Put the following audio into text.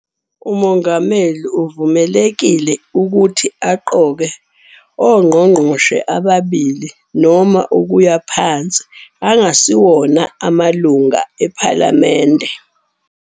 UMongameli uvumelekile ukuthi aqoke amangqongqoshe amabili noma ukuya phansi angasiwona amalunga ePhalamende.